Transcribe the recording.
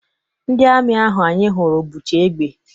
Ndị amị ahụ anyị hụrụ bucha egbe.